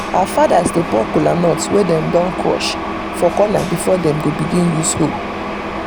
our fathers dey pour kolanut wey dem don crush for corner before dem dem begin use hoe.